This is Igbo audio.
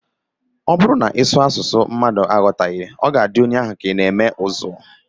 Ọ bụrụ na ị sụọ asụsụ mmadụ anaghị aghọta, ọ na-adị onye ahụ ka ị na-eme ụzụ